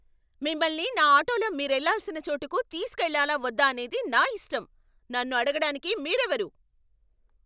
మిమ్మల్ని నా ఆటోలో మీరెళ్ళాల్సిన చోటుకు తీసుకెళ్లాలా వద్దా అనేది నా ఇష్టం. నన్ను అడగడానికి మీరెవరు?